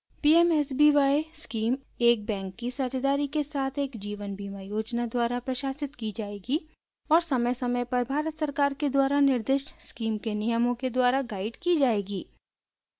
pmsby scheme एक bank की साझेदारी के साथ एक जीवन बीमा योजना द्वारा प्रशासित की जाएगी और समयसमय पर भारत सरकार के द्वारा निर्दिष्ट स्कीम के नियमों के द्वारा गाइड की जाएगी